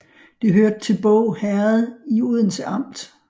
Det hørte til Båg Herred i Odense Amt